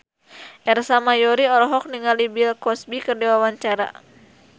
Ersa Mayori olohok ningali Bill Cosby keur diwawancara